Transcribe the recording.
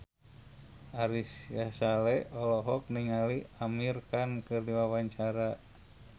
Ari Sihasale olohok ningali Amir Khan keur diwawancara